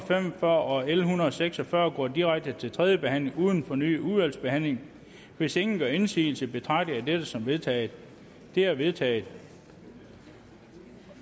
og fyrre og l en hundrede og seks og fyrre går direkte til tredje behandling uden fornyet udvalgsbehandling hvis ingen gør indsigelse betragter jeg dette som vedtaget det er vedtaget